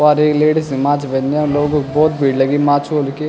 पवार एक लेडीज माछु बद्न्या लोगाे क बहौत भीड़ लगीं माछु होलू की।